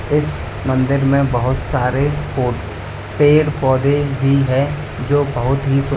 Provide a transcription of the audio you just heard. इस मंदिर में बहुत सारे पौ पेड़ पौधे भी हैं जो बहुत ही सुं--